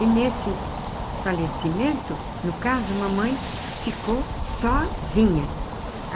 E nesse falecimento, no caso, a mamãe ficou sozinha.